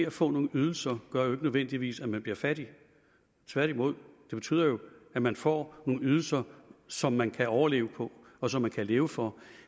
at få nogle ydelser gør jo ikke nødvendigvis at man bliver fattig tværtimod det betyder jo at man får nogle ydelser som man kan overleve på og som man kan leve for